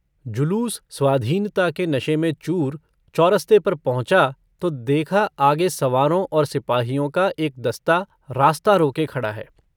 जुलूस स्वाधीनता के नशे में चूर चौरस्ते पर पहुँचा तो देखा आगे सवारों और सिपाहियों का एक दस्ता रास्ता रोके खड़ा है।